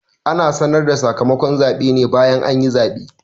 Ana sanar da sakamakon zaɓe ne bayan anyi zaɓe